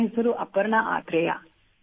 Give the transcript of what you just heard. ನನ್ನ ಹೆಸರು ಅಪರ್ಣಾ ಆತ್ರೇಯ